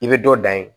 I bɛ dɔ dan ye